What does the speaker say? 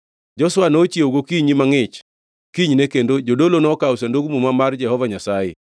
Joshua nochiewo gokinyi mangʼich kinyne kendo jodolo nokawo Sandug Muma mar Jehova Nyasaye.